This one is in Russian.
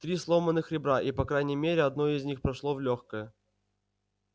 три сломанных ребра и по крайней мере одно из них прошло в лёгкое